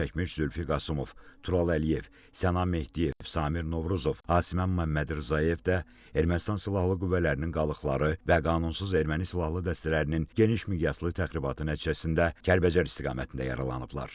Zərər çəkmiş Zülfi Qasımov, Tural Əliyev, Sənan Mehdiyev, Samir Novruzov, Asiməmməd Rzayev də Ermənistan silahlı qüvvələrinin qalıqları və qanunsuz erməni silahlı dəstələrinin geniş miqyaslı təxribatı nəticəsində Kəlbəcər istiqamətində yaralanıblar.